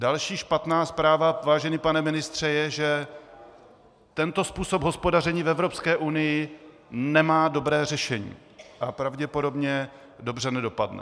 Další špatná zpráva, vážený pane ministře, je, že tento způsob hospodaření v Evropské unii nemá dobré řešení a pravděpodobně dobře nedopadne.